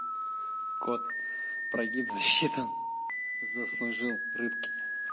кот прогиб засчитан заслужил рыбки